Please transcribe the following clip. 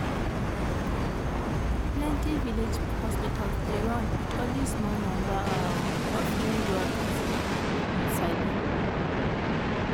plenty village hospitals dey run with only small number um of trained workers um you sabi